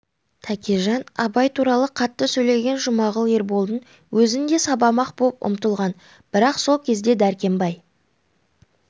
тәкежан абай туралы қатты сөйлеген жұмағұл ерболдың өзін де сабамақ боп ұмтылған бірақ сол кезде дәркембай